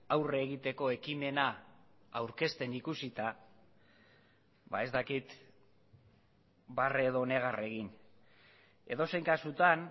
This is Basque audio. aurre egiteko ekimena aurkezten ikusita ez dakit barre edo negar egin edozein kasutan